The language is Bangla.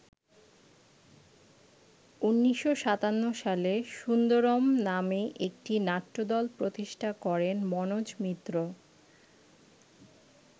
১৯৫৭ সালে ‘সুন্দরম’ নামে একটি নাট্যদল প্রতিষ্ঠা করেন মনোজ মিত্র।